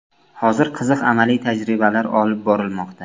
Hozir qiziq amaliy tajribalar olib borilmoqda.